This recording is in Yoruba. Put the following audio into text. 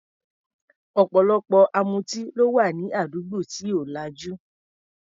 Ọ̀pọ̀lọpọ̀ amutí ló wà ní àdúgbò tí ò lajú.